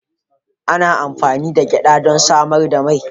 Ana amfani da gyada don samar da mai.